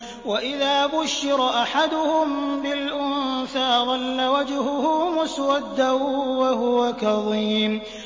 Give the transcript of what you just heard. وَإِذَا بُشِّرَ أَحَدُهُم بِالْأُنثَىٰ ظَلَّ وَجْهُهُ مُسْوَدًّا وَهُوَ كَظِيمٌ